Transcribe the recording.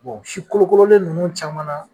Bɔn si kolokololen ninnu caman na